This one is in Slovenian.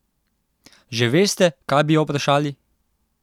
Že veste, kaj bi jo vprašali?